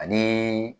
Ani